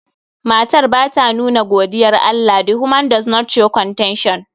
Matar ba ta nuna godiyar Allah. The woman does not show contention.